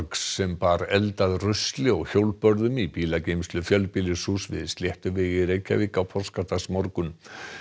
sem bar eld að rusli og hjólbörðum í bílageymslu fjölbýlishúss við í Reykjavík á páskadagsmorgun